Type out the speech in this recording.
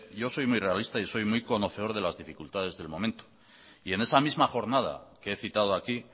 yo soy muy realista y soy muy conocedor de las dificultades del momento y en esa misma jornada que he citado aquí